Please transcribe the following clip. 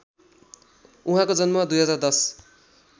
उहाँको जन्म २०१०